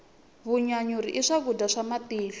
vanyanyuri i swakudya swa matihlo